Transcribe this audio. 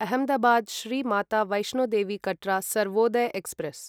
Ahmedabad Shri Mata Vaishno Devi Katra Sarvodaya express